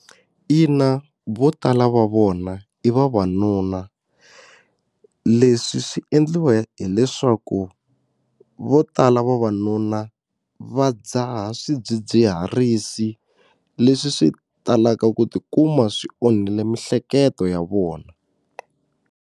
Ina, vo tala va vona i vavanuna leswi swi endliwa hileswaku vo tala vavanuna va dzaha swidzidziharisi leswi swi talaka ku tikuma swi onhile mihleketo ya vona.